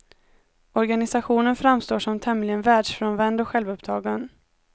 Organisationen framstår som tämligen världsfrånvänd och självuppptagen.